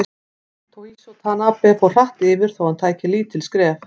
Toshizo Tanabe fór hratt yfir þó hann tæki lítil skref.